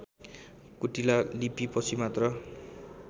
कुटिला लिपिपछि मात्र